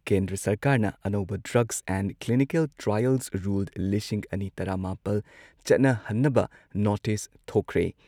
ꯀꯦꯟꯗ꯭ꯔ ꯁꯔꯀꯥꯔꯅ ꯑꯅꯧꯕ drugs and clinical trials rule, ꯂꯤꯁꯤꯡ ꯑꯅꯤ ꯇꯔꯥ ꯃꯥꯄꯜ ꯆꯠꯅꯍꯟꯅꯕ ꯅꯣꯇꯤꯁ ꯊꯣꯛꯈ꯭ꯔꯦ ꯫